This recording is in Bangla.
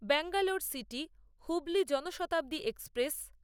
Bangalore city Hubli Janshatabdi express